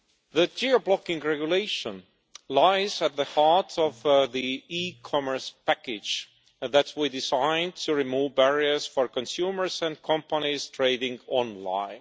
The Geo Blocking Regulation lies at the heart of the e commerce package that we designed to remove barriers for consumers and companies trading online.